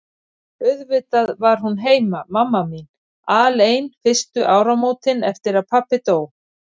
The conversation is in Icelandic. Því auðvitað var hún heima, mamma mín, alein fyrstu áramótin eftir að pabbi dó.